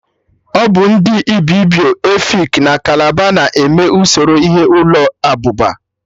Ọbụ ndị Ibibio, Efik na Kalabari na-eme usoro ihe ụlọ abụba